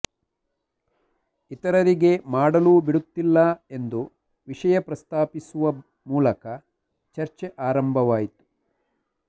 ಇತರಿಗೆ ಮಾಡಲೂ ಬಿಡುತ್ತಿಲ್ಲ ಎಂದು ವಿಷಯ ಪ್ರಸ್ತಾಪಿಸುವ ಮೂಲಕ ಚರ್ಚೆ ಆರಂಭವಾಯಿತು